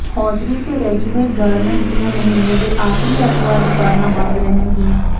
hosiery ਤੇ readymade garments ਦੀਆਂ ਮਹੀਨੇ ਦੇ ਆਖ਼ਰੀ ਐਤਵਾਰ ਦੁਕਾਨਾਂ ਬੰਦ ਰਹਿਣਗੀਆਂ